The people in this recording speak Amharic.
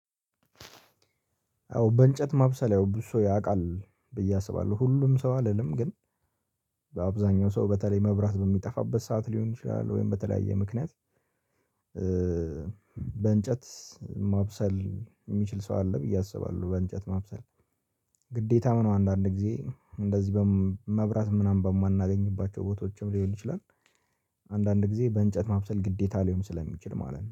አዎ በእንጨት ማብሰል ያው ብዙ ሰው ያውቃል ብዬ አስባለሁ ሁሉም ሰው አልልም ግን በአብዛኛው ሰው በተለይ መብራት በሚጠፋበት ሰዓት ሊሆን ይችላል ወይም በተለያየ ምክንያት። በእንጨት ማብሰል የሚችል ሰው አለ ብዬ አስባለሁ። በእንጨት ማብሰል ግዴታም ነው አንዳንድ ጊዜ እንደዚህ መብራት ምናምን በማናገኝባቸው ቦታዎችም ሊሆን ይችላል። አንዳንድ ጊዜ በእንጨት ማብሰል ግዴታ ሊሆን ስለሚችል ማለት ነው